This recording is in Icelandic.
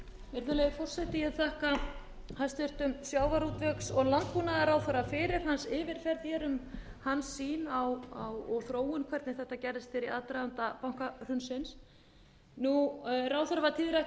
virðulegi forseti ég þakka hæstvirtum sjávarútvegs og landbúnaðarráðherra fyrir hans yfirferð hér um hans sýn og þróun hvernig þetta gerðist hér í aðdraganda bankahrunsins ráðherra var tíðrætt um í byrjun ræðunnar að hér